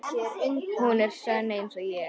Hún er sönn einsog ég.